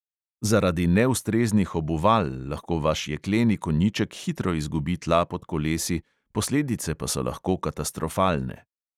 Zaradi neustreznih obuval lahko vaš jekleni konjiček hitro izgubi tla pod kolesi, posledice pa so lahko katastrofalne.